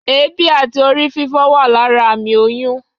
éebí atí Ori fífo wa lara amí oyún